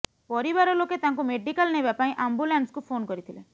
ପରିବାରଲୋକେ ତାଙ୍କୁ ମେଡିକାଲ ନେବା ପାଇଁ ଆମ୍ବୁଲାନ୍ସକୁ ଫୋନ୍ କରିଥିଲେ